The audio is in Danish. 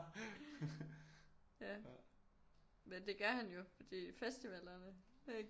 Ja men det gør han jo fordi festivallerne ikke